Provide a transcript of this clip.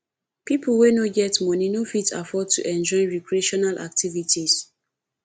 pipo wey no get money no fit afford to enjoy recreational activities